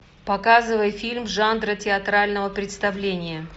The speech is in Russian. показывай фильм жанра театрального представления